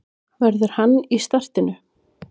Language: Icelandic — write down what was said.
Verður hann í startinu?